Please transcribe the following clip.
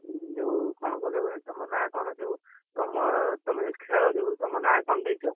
ଯୋଉ କଣ କହିଲ କହୁଥିଲି ତମ ନାଁ କଣ ଯୋଉ, ତମ ତମେ ଯୋଉ ଖେଳ ଯୋଉ ତମ ନାଁ କଣ ଦେଇଛ?